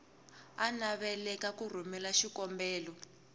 a navelaka ku rhumela xikombelo